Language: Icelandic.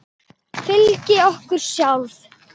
Fyrir okkur sjálf.